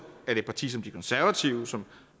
et parti som de konservative som